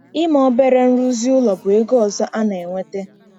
Ime obere nrụzi ụlọ bụ ego ọzọ a na-enweta.